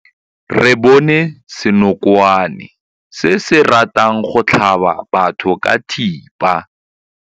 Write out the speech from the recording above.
Re bone senokwane se se ratang go tlhaba batho ka thipa.